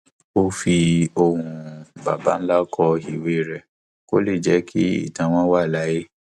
ó fi ohùn baba ńlá kọ ewì rẹ kó lè jẹ kí ìtàn wọn wà láàyè